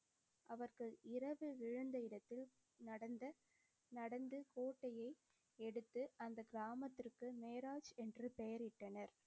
அவர்கள் இரவு விழுந்த இடத்தில் நடந்த நடந்து கோட்டையை எடுத்து அந்தக் கிராமத்திற்கு மேராஜ் என்று பெயரிட்டனர்.